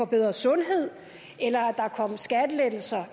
bedre sundhed eller at der skulle komme skattelettelser